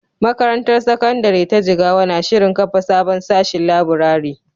Makarantar Sakandare ta Jigawa na shirin kafa sabon sashin laburare.